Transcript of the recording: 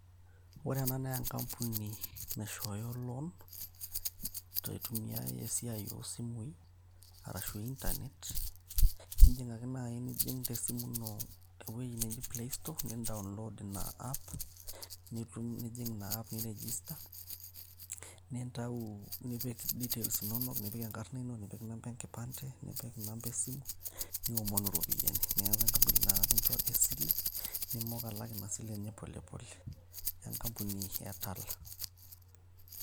ore ena enkampuni naishooyo loan teitumiae esiai osimui arashu internet indim ake naaji nijing tesimu ino ewueji neji playstore nin download ina app niitu nijing ina app nirijista nintau nipik details inonok nipik enkarrna ino nipik inamba enkipande nipik inamba esimu niomonu iropiyiani naa enkampuni naa ekincho esile nimok alak ina sile enye polepole enkampuni e tala.